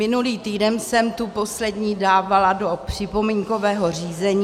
Minulý týden jsem tu poslední dávala do připomínkového řízení.